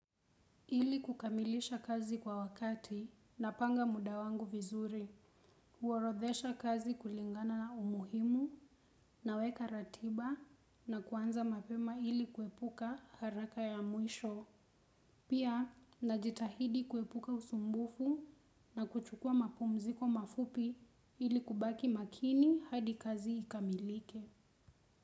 Ili kukamilisha kazi kwa wakati napanga muda wangu vizuri kuorodhesha kazi kulingana na umuhimu naweka ratiba na kuanza ili kuepuka haraka ya mwisho pia najitahidi kuepuka usumbufu na kuchukua mapumziko mafupi ili kubaki makini hadi kazi ikamilike.